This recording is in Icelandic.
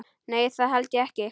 Nei það held ég ekki.